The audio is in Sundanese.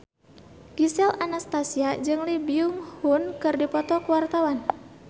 Gisel Anastasia jeung Lee Byung Hun keur dipoto ku wartawan